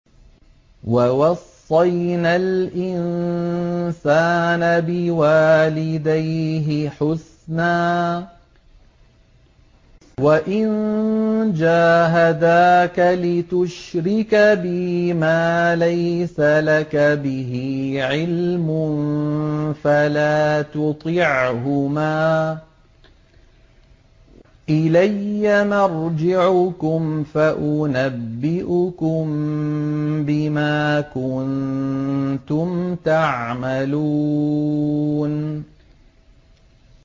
وَوَصَّيْنَا الْإِنسَانَ بِوَالِدَيْهِ حُسْنًا ۖ وَإِن جَاهَدَاكَ لِتُشْرِكَ بِي مَا لَيْسَ لَكَ بِهِ عِلْمٌ فَلَا تُطِعْهُمَا ۚ إِلَيَّ مَرْجِعُكُمْ فَأُنَبِّئُكُم بِمَا كُنتُمْ تَعْمَلُونَ